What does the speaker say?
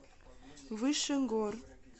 выше гор